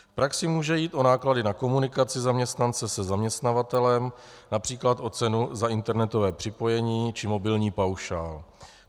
V praxi může jít o náklady na komunikaci zaměstnance se zaměstnavatelem, například o cenu za internetové připojení či mobilní paušál.